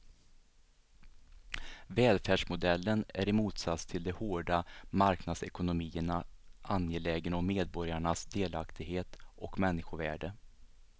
Välfärdsmodellen är i motsats till de hårda marknadsekonomierna angelägen om medborgarnas delaktighet och människovärde.